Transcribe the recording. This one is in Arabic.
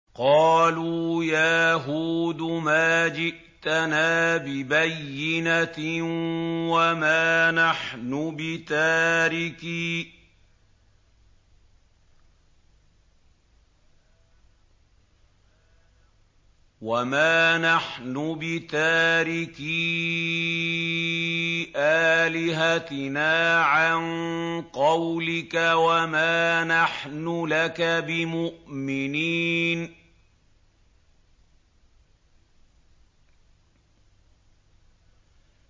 قَالُوا يَا هُودُ مَا جِئْتَنَا بِبَيِّنَةٍ وَمَا نَحْنُ بِتَارِكِي آلِهَتِنَا عَن قَوْلِكَ وَمَا نَحْنُ لَكَ بِمُؤْمِنِينَ